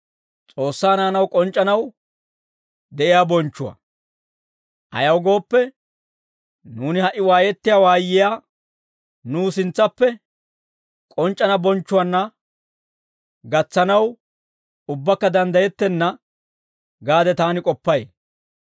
Ayaw gooppe, nuuni ha"i waayettiyaa waayiyaa nuw sintsappe k'onc'c'ana bonchchuwaanna gatsanaw, ubbakka danddayettenna gaade taani k'oppay.